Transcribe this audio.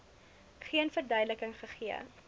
geen verduideliking gegee